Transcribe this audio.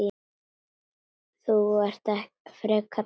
Þú ert frekar lax.